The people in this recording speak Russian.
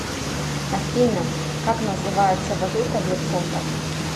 афина как называется валюта в лесото